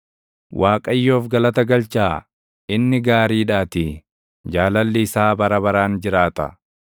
Waaqayyoof galata galchaa; inni gaariidhaatii; jaalalli isaa bara baraan jiraata.